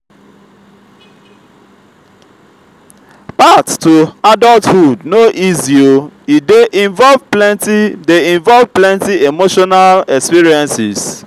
path to adulthood no easy o e dey involve plenty dey involve plenty emotional experiences.